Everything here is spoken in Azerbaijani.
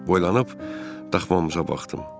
Boylanıb daşxamıza baxdım.